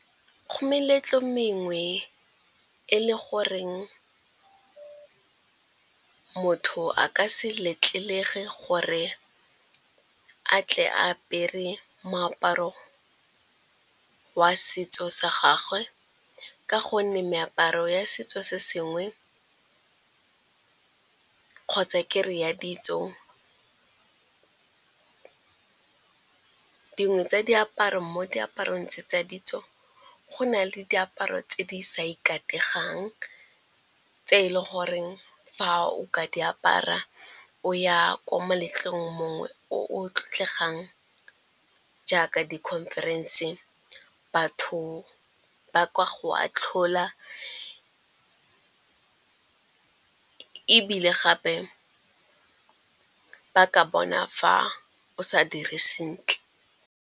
Go meletlo mengwe e le goreng motho a ka se letlelege gore a tle a apare moaparo wa setso sa gagwe ka gonne meaparo ya setso, kgotsa ke re ya ditso dingwe tsa diaparo mo diaparong tse tsa ditso, go na le diaparo tse di sa ikategang tse eleng gore fa o ka di apara o ya ko moletlong mongwe o tlotlegang jaaka di-conference, batho ba ka go atlhola ebile gape ba ka bona fa o sa dire sentle.